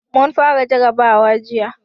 Mun fara jarrabawa jiya.